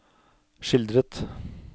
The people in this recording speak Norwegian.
skildret